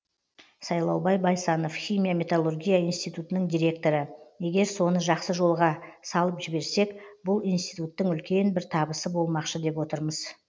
сайлаубай байсанов химия металлургия институтының директоры егер соны жақсы жолға салып жіберсек бұл институттың үлкен бір табысы болмақшы деп отырмыз